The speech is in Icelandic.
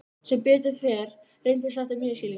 Sem betur fer reyndist þetta misskilningur.